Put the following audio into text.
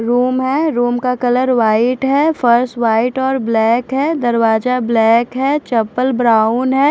Room है room का colour white है फर्स वाइट और ब्लैक है दरवाजा ब्लैक है चप्पल ब्राउन है।